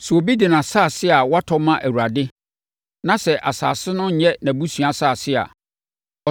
“ ‘Sɛ obi bi de asase a watɔ ma Awurade, na sɛ asase no nyɛ nʼabusua asase a,